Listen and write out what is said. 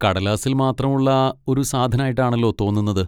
കടലാസിൽ മാത്രം ഉള്ള ഒരു സാധനായിട്ടാണല്ലോ തോന്നുന്നത്.